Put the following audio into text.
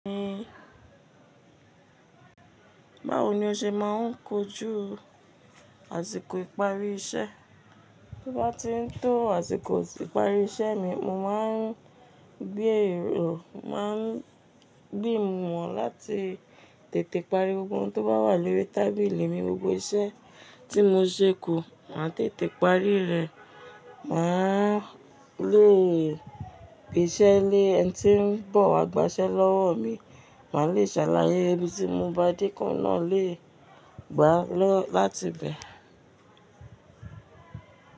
Báwo ni o ṣe máa ń kojú àsìkò ìparí iṣẹ́? Bí bá ti ń tó àsìkò ìparí iṣẹ́ mi, mo máa ń gbé èrò, màá gbìmọ̀ láti tètè parí gbogbo ohun tó bá wà lórí tábìlì mi. Gbogbo iṣẹ́ tí mo ṣe kù, màá tètè parí rẹ̀. Mà á lé gbeṣe lé ẹn tí ń bọ̀ wá gbaṣẹ́ lọ́wọ́ mi. Mà á lè ṣàlàyé ibi tí mo bá de ko n náà lè gbà á lọ láti bẹ̀.